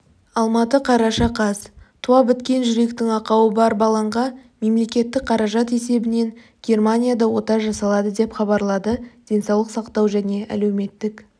алматы қараша қаз туа біткен жүректің ақауы бар баланға мемлекеттік қаражат есебінен германияда ота жасалады деп хабарлады денсаулық сақтау және әлеуметтік